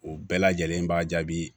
O bɛɛ lajɛlen b'a jaabi